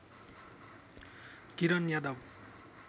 Kiran Yadav